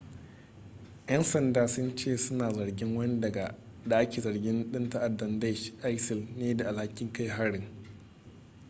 'yan sanda sun ce suna zargin wani da ake zargin dan ta'addar daesh isil ne da alhakin kai harin